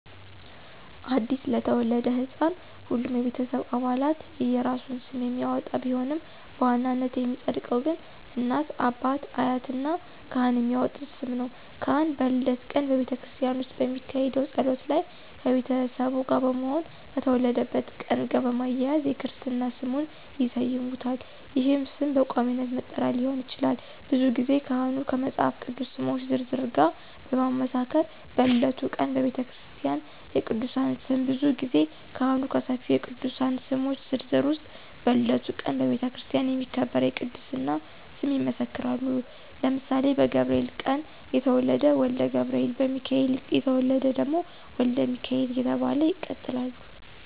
አዲስ ለተወለደ ሕፃን ሁሉም የቤተሰብ አባላት የየራሱን ስም የሚያወጣ ቢሆንም በዋናነት የሚፀድቀው ግን እናት፣ አባት፣ አያት እና ካህን የሚያወጡት ስም ነው። ካህን በልደት ቀን በቤተክርስቲያን ውስጥ በሚካሄደው ጸሎት ላይ ከቤተሰቡ ጋር በመሆን ከተወለደበት ቀን ጋር በማያያዝ የክርስትና ስሙን ይሰይሙታል ይህም ስም በቋሚነት መጠሪያ ሊሆን ይችላል። ብዙ ጊዜ ካህኑ ከመፃፍ ቅዱስ ስሞች ዝርዝር ጋር በማመሳከር በልደቱ ቀን በቤተክርስቲያ የቅድስና ስም ብዙ ጊዜ ካህኑ ከሰፊው የቅዱሳን ስሞች ዝርዝር ውስጥ በልደቱ ቀን በቤተክርስቲያን የሚከበር የቅድስና ስም ይመሰክራሉ ለምሳሌ በገብርኤል ቀን የተወለደ ወልደ ገብርኤል፣ በሚካኤል የተወለደ ደግሞ ወልደ ሚካኤል እየተባለ ይቀጥላለ።